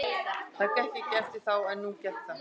Það gekk ekki eftir þá en nú gekk það.